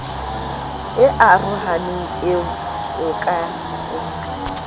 e arohaneng eo o ka